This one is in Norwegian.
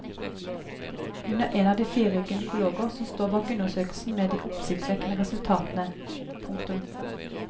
Hun er en av fire gynekologer som står bak undersøkelsen med de oppsiktsvekkende resultatene. punktum